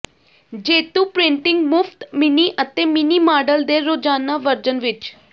ਜੇਤੂ ਪ੍ਰਿੰਟਿੰਗ ਮੁਫਤ ਮਿੰਨੀ ਅਤੇ ਮਿੰਨੀ ਮਾਡਲ ਦੇ ਰੋਜ਼ਾਨਾ ਵਰਜਨ ਵਿੱਚ